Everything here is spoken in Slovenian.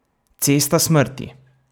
Cesta smrti!